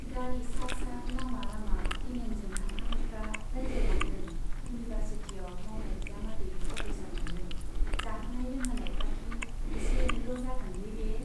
गारि सा सा लामा लामा दिनेनजों थांफानायफ्रा रायज्लायलांदों, इउनिभारसिटियाव मावनाय बिजामादै प्रफेसर मोनगोन, जाहोनाय लोंहोनायफ्राखि एसे एनैल' जागोनलै बे !